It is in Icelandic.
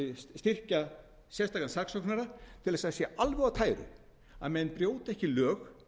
styrkja sérstakan saksóknara til að það sé alveg á tæru að menn brjóti ekki lög